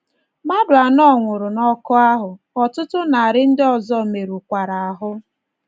Mmadụ anọ nwụrụ n’ọkụ ahụ, ọtụtụ narị ndị ọzọ merụkwara ahụ́.